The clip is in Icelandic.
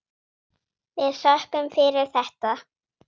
Við þökkum fyrir þetta.